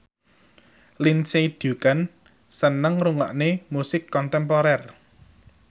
Lindsay Ducan seneng ngrungokne musik kontemporer